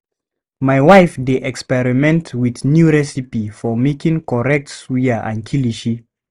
My wife dey experiment with new recipe for making correct suya and kilishi.